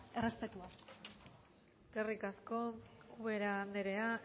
errespetua eskerrik asko ubera andrea